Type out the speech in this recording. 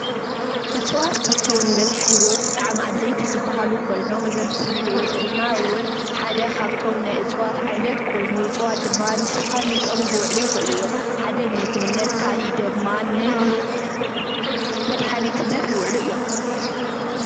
እፅዋት ካብቶም ንብዝሓ ህይወት ብጣዕሚ ኣድለይቲ ዝበሃሉ ኮይኖም እዚ ኣብ ምስሊ ንሪኦ ዘለና እውን ሓደ ካብቶም እፅዋት ዓይነት ኮይኑ እፅዋት ድማ ንዝተፈላለየ ጥቕሚ ክውዕሉ ይኽእሉ እዮም፡፡ ሓደ ንምግብነት፣ ካሊእ ድማ ንመድሓኒትነት ይውዕሉ እዮም፡፡